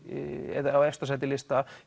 eða á efsta sæti lista